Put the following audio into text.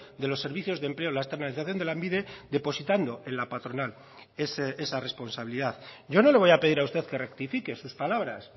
de los servicios de empleo la externalización de lanbide depositando en la patronal esa responsabilidad yo no le voy a pedir a usted que rectifique sus palabras